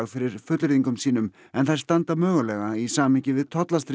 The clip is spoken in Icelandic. fyrir fullyrðingum sínum en þær standa mögulega í samhengi við